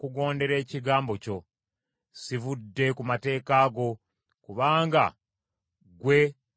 Sivudde ku mateeka go, kubanga ggwe waganjigiriza.